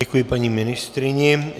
Děkuji paní ministryni.